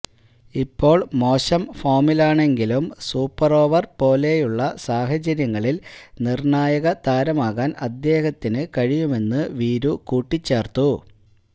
ഇപ്പോൾ മോശം ഫോമിലാണെങ്കിലും സൂപ്പർ ഓവർ പോലെയുള്ള സാഹചര്യങ്ങളിൽ നിർണായക താരമാകാൻ അദ്ദേഹത്തിന് കഴിയുമെന്ന് വീരു കൂട്ടിച്ചേർത്തു